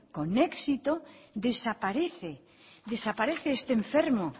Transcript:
con éxito desaparece desaparece este enfermo